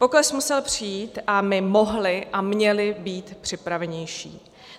Pokles musel přijít a my mohli a měli být připravenější.